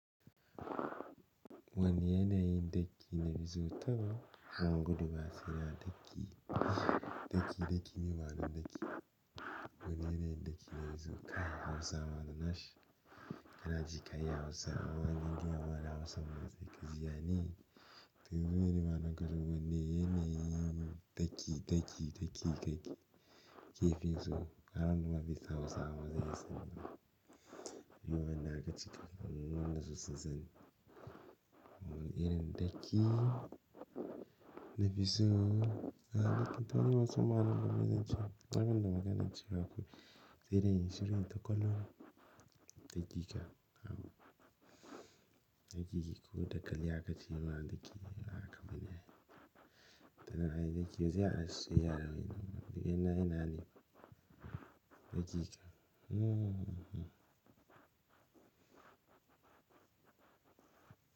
Wani yanayin daƙi na bizuta, kuma gudu ba fiya daƙi, daƙi, daƙi, miɓanu daƙi. Wani yanayin daƙi na bizuta, Hausa mana na shi. Ya na ji kai Hausa, awani indiya mana Hausa mana zai gizi, ya ne? To zuɓe ni mana gudu wani yanayin daƙi, daƙi, daƙi, daƙi. Kifi so, ana numa fi Hausa mana zai yi sama. Miɓa na aka cika, nono na su sizani. Wani yanayin daƙi na bizuta, a baƙin fari Hausa mana goma zai ci. Tsakanin da magana ci baƙo. Sai dai shirin taƙwalon daƙi ka. Daƙi kiku, daƙali aka ci mana daƙi, na aka bi ne. Tana ai daƙi zai aske yaro. Daƙi na, ina ne? Daƙi ka. Hmm hmm hmm.